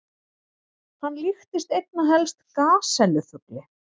Hann líktist einna helst gasellu-fugli.